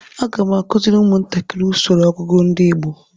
Aga m akụziri ụmụntakiri usoro ọgụgụ ndi igbo